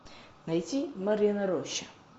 найти марьина роща